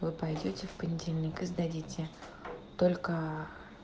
вы пойдёте в понедельник и сдадите только